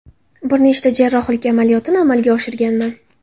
Bir nechta jarrohlik amaliyotini amalga oshirganman.